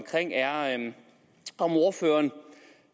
er om ordføreren